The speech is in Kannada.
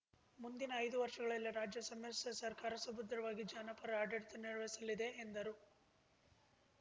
ಮುಂದಿನ ಐದು ವರ್ಷಗಳಲ್ಲಿ ರಾಜ್ಯದ ಸಮ್ಮಿಶ್ರ ಸರ್ಕಾರ ಸುಭದ್ರವಾಗಿ ಜನಪರ ಆಡಳಿತ ನಿರ್ವಹಿಸಲಿದೆ ಎಂದರು